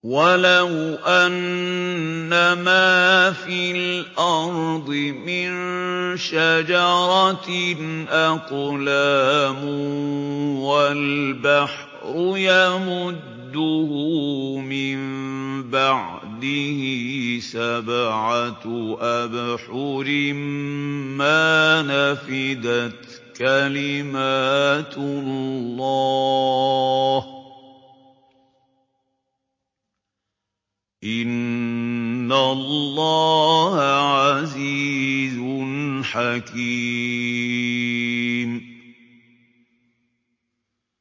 وَلَوْ أَنَّمَا فِي الْأَرْضِ مِن شَجَرَةٍ أَقْلَامٌ وَالْبَحْرُ يَمُدُّهُ مِن بَعْدِهِ سَبْعَةُ أَبْحُرٍ مَّا نَفِدَتْ كَلِمَاتُ اللَّهِ ۗ إِنَّ اللَّهَ عَزِيزٌ حَكِيمٌ